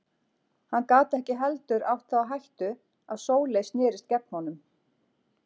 Hann gat ekki heldur átt það á hættu að Sóley snerist gegn honum.